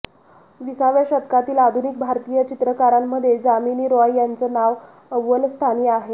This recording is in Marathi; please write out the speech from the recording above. विसाव्या शतकातील आधुनिक भारतीय चित्रकारांमध्ये जामिनी रॉय यांचं नाव अव्वल स्थानी आहे